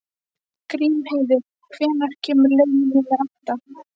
Grímheiður, hvenær kemur leið númer átta?